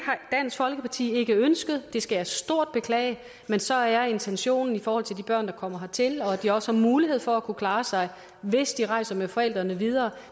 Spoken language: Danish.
dansk folkeparti ikke ønsket det skal jeg stort beklage men så er intentionen i forhold til de børn der kommer hertil at de også har mulighed for at kunne klare sig hvis de rejser med forældrene videre